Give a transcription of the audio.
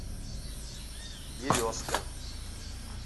березка